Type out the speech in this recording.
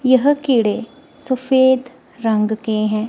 यह कीड़े सफेद रंग के हैं।